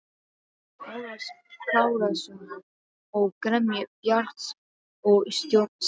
Ólafs Kárasonar og gremju Bjarts og stjórnsemi.